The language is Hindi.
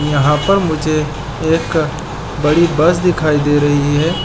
यहाँ पर मुझे एक बड़ी बस दिखाई दे रही है।